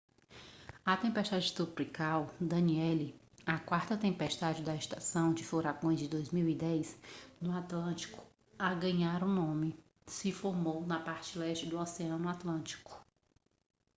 a tempestade tropical danielle a quarta tempestade da estação de furações de 2010 no atlântico a ganhar um nome se formou na parte leste do oceano atlântico